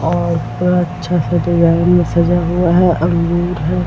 और ऊपर अच्छा सा डिज़ाइन में सजा हुआ है अंगूर है ।